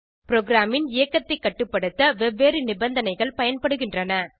ப்ரோகிராமின் இயக்கத்தைக் கட்டுப்படுத்த வெவ்வேறு நிபந்தனைகள் பயன்படுகின்றன